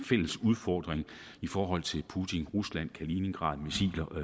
fælles udfordring i forhold til putin rusland kaliningrad missiler og